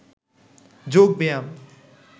যোগ ব্যায়াম